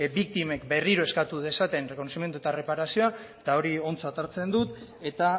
biktimek berriro eskatu dezaten errekonozimendua eta erreparazioa eta hori ontzat hartzen dut eta